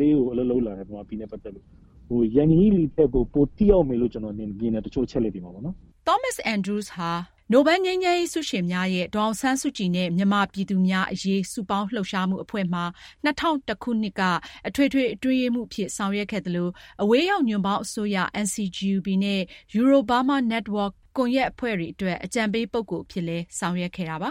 လေး အလုပ်လုပ်လာသူဖြစ်တယ်။ တချို့နေရာတွေမှာ ယန်ဟီလီထက်ကို ပိုထိရောက်လိမ်မယ်လို့ ကျနော်ထင်တယ် တချို့အချက်တွေမှာပေါ့နော်။” Thomas Andrews ဟာ “The Nobel Peace Laureate Campaign for Aung San Suu Kyi and the People of Burma” နိုဘယ်ငြိမ်းရေးဆုရှင်များရဲ့ ဒေါ်အောင်ဆန်းစုကြည်နဲ့ မြန်မာပြည်သူများအရေး စုပေါင်းလှုပ်ရှားမှုအဖွဲ့မှာ ၂၀၀၁ ခုနှစ်က အထွေထွေအတွင်းရေးမှူးအဖြစ် ဆောင်ရွက်ခဲ့သလို၊ အဝေးရောက်ညွှန့်ပေါင်းအစိုးရ NCGUB နဲ့ Euro-Burma Network ကွန်ယက်အဖွဲ့တွေအတွက် အကြံပေးပုဂ္ဂိုလ်အဖြစ် ဆောင်ရွက်ခဲ့ပါ